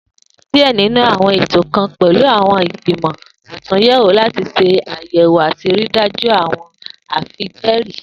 Diẹ ninu awọn eto kan pẹlu awọn igbimọ atunyẹwo lati ṣe ayẹwo ati rii daju awọn afijẹẹri.